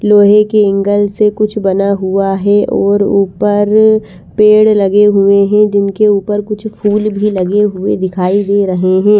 लोहे के एंगल से कुछ बना हुआ है और उपर पेड़ लगे हुए है जिनके उपर कुछ फुल भी लगे हुए दिखाई दे रहे है।